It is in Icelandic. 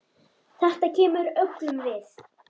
Þetta kemur öllum við.